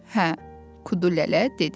Hə, Kudu lələ dedi.